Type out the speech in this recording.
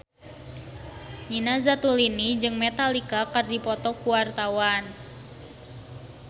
Nina Zatulini jeung Metallica keur dipoto ku wartawan